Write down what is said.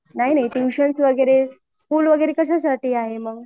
नाही नाही ट्यूशन वगैरे स्कुल वगैरे कशासाठी आहे मंग